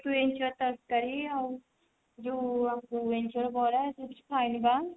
ଇଞ୍ଚଡ ତରକାରୀ ଆଉ ଯଉ ଇଞ୍ଚଡ ବରା chips ଖାଇଲି ବା